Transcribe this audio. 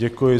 Děkuji.